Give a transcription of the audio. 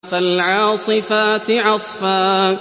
فَالْعَاصِفَاتِ عَصْفًا